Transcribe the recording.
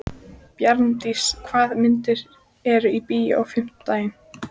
Bjarndís, hvaða myndir eru í bíó á fimmtudaginn?